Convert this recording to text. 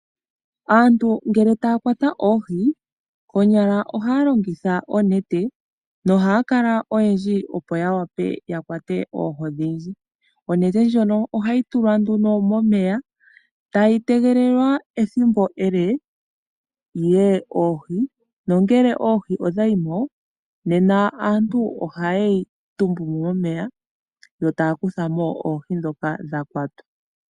Aantu ngele taya kwata oohi konyala ohaya longitha oonete yo ohaya kala oyendji opo opo ya kwate oohi odhindji. Onete ohayi tulwa momeya uule wethimbo ele opo oohi dhiye mo, nokonima oonete ohadhi kuthwa mo opo yayuge mo oohi ndhoka.